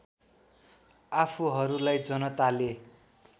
आफूहरूलाई जनताले